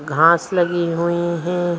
घास लगी हुई है ।--